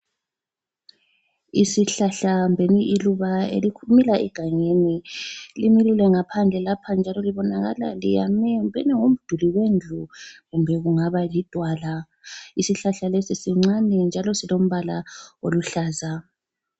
Isihlahla kumbeni iluba elimila egangeni limilile ngaphandle lapha njalo libonakala liyame kumbeni kungaba ngumduli wendlu kumbe kungaba lidwala. Isihlahla lesi sincane njalo silombala oluhlaza.